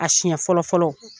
A siɲɛ fɔlɔ fɔlɔ